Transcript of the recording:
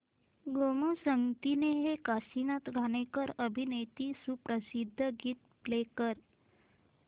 गोमू संगतीने हे काशीनाथ घाणेकर अभिनीत सुप्रसिद्ध गीत प्ले कर